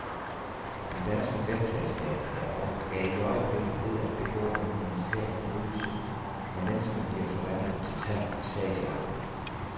Den danske velfærdsstat er i øjeblikket ved at begå en humanitær forbrydelse, hvor mennesker bliver forvandlet til tal og sagsakter.